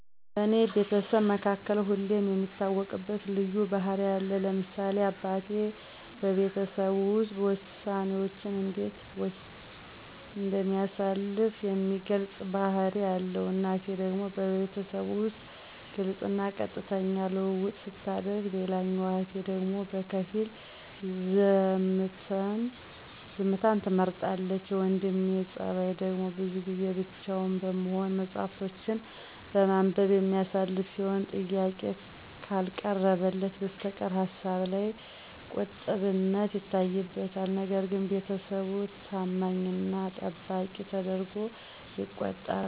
በኔ ቤተሰብ መካከል ሁለም የሚታወቅበት ልዩ ባህሪ አለ ለምሳሌ አበቴ በቤተሰቡ ዉስጥ ወሳኔወችንእንዴት እንደሚያሳልፍ የሚገልጽ ባህሪ አለዉ እናቴ ደግሞ በቤተሰቡ ዉስጥ ግልጽና ቀጥተኛ ልዉዉጥሰታደርግ ሌላኛዋ እህቴ ደግሞ በከፊል ዝምተን ትመርጣለች የወንድሜ ጸባይደግሞ ብዙን ጊዜ ብቻዉን በመሆን መጽሀፍቶችን በማንበብ የሚያሳልፍ ሲሆን ጥያቄ ከልቀረበለት በስተቀር ሀሳብላይ ቂጥብነት ይታይበታል ነገርግን ቤተሰቡ ተማኝና ጠባቂ ተደርጓ የተቆጠራል።